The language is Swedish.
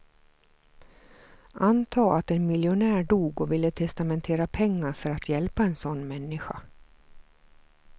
Antag att en miljonär dog och ville testamentera pengar för att hjälpa en sådan människa.